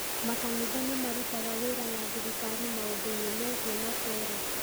Makanitha nĩ marutaga wĩra na thirikari maũndũ-inĩ megiĩ matũũra.